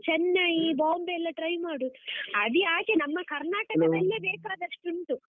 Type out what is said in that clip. Chennai, Bombay ಎಲ್ಲ try ಮಾಡು, ಅದು ಯಾಕೆ ನಮ್ಮ ಕರ್ನಾಟಕದಲ್ಲೇ ಬೇಕಾದಷ್ಟು ಉಂಟು.